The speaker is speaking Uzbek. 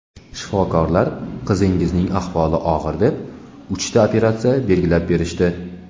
Shifokorlar qizingizning ahvoli og‘ir deb uchta operatsiya belgilab berishdi.